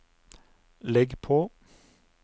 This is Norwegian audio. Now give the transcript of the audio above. legg på